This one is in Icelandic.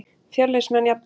Fjölnismenn jafna.